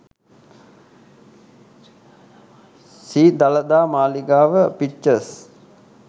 sri dalada maligawa pictures